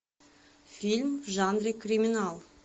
фильм в жанре криминал